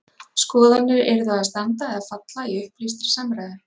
Skoðanir yrðu að standa eða falla í upplýstri samræðu.